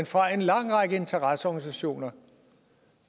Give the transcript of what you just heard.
fra en lang række interesseorganisationer